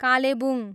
Kalimpong